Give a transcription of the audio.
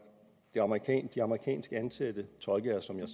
de amerikanskansatte tolke er som jeg